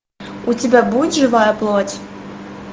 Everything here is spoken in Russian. у тебя будет живая плоть